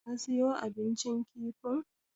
Ka siyo abincin kifin?